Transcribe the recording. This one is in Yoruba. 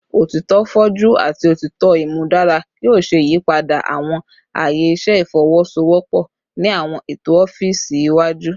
Otitọ foju ati otitọ imudara yoo ṣe iyipada awọn aaye iṣẹ ifowosowopo ni awọn eto ọfiisi iwaju